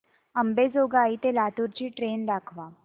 अंबेजोगाई ते लातूर ची ट्रेन दाखवा